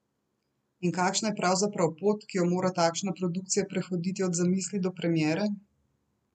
In kakšna je pravzaprav pot, ki jo mora takšna produkcija prehoditi od zamisli do premiere?